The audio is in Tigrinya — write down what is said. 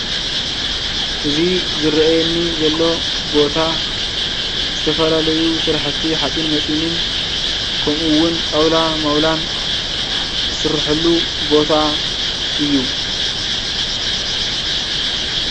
እዚ ዝርአየኒ ዘሎ ቦታ ዝተፈላለዩ ስራሕቲ ሓፂን መፂንን ከመኡ እውን ጣውላ መውላን ዝስርሕሉ ቦታ እዩ።